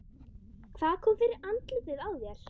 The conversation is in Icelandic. Hvað kom fyrir andlitið á þér?